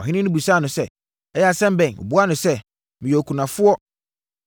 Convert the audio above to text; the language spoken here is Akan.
Ɔhene no bisaa no sɛ, “Ɛyɛ asɛm bɛn?” Ɔbuaa no sɛ, “Meyɛ okunafoɔ.